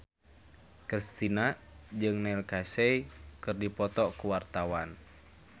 Kristina jeung Neil Casey keur dipoto ku wartawan